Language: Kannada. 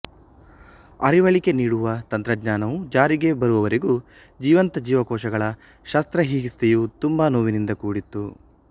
ಅರಿವಳಿಕೆ ನೀಡುವ ತಂತ್ರಜ್ಞಾನವು ಜಾರಿಗೆ ಬರುವ ವರೆಗೂ ಜೀವಂತ ಜೀವಕೋಶಗಳ ಶಸ್ತ್ರಹಿಕಿತ್ಸೆಯು ತುಂಬಾ ನೋವಿನಿಂದ ಕೂಡಿತ್ತು